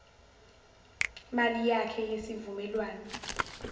mali yakhe yesivumelwano